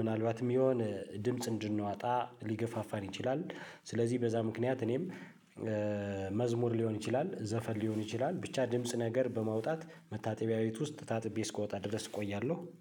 ምናልባትም የሆነ ድምጽ እንድንዋጣ ሊገፋፋን ይችላል። ስለዚህ በዛ ምክንያት እኔም መዝሙር ሊሆን ይችላል። ዘፈን ሊሆን ይችላል። ብቻ ድምጽ ነገር በማውጣት መታጠቢያ ቤት ውስጥ ታጥቤ እስኮወጣ ድረስ እቆያለሁ።